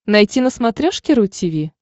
найти на смотрешке ру ти ви